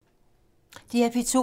DR P2